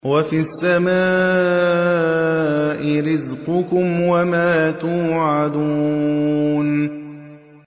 وَفِي السَّمَاءِ رِزْقُكُمْ وَمَا تُوعَدُونَ